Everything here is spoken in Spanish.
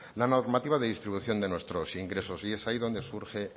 la normativa de distribución de nuestros ingresos y es ahí donde surge